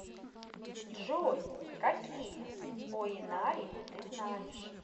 джой какие оинари ты знаешь